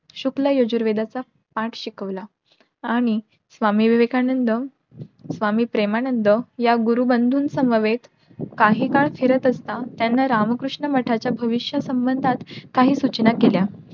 शुक्ल यजुर्वेदाचा पाठ शिकवलं आणि स्वामी विवेकानंद स्वामी प्रेमानंद या गुरुबंधू समवेत काही काळ फिरात असता त्यांना रामकृष्ण मठाच्या भविष्या संबंधात काही सूचना केल्या.